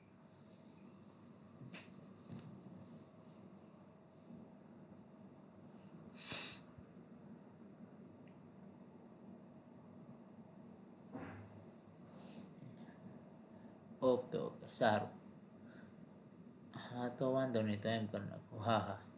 okay okay સારું હા તો વાંધો નહિ તો એમ કરી નાખું હા હા